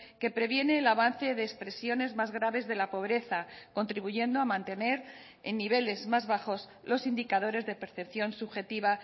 que previene el avance de expresiones más graves de la pobreza contribuyendo a mantener en niveles más bajos los indicadores de percepción subjetiva